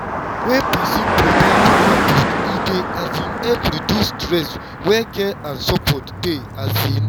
wen person provide better food e dey um help reduce stress where care and support dey. um